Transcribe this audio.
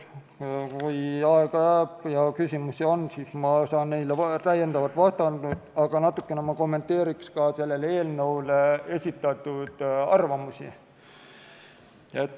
Kui aega jääb ja küsimusi on, siis ma saan neile täiendavalt vastata, aga natukene kommenteerin ka selle eelnõu kohta esitatud arvamusi.